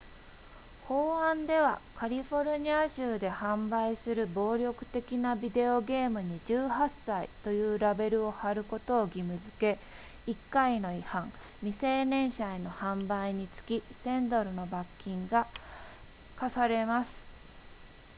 法案ではカリフォルニア州で販売する暴力的なビデオゲームに18歳というラベルを貼ることを義務付け1回の違反未成年者への販売につき1000ドルの罰金が科されます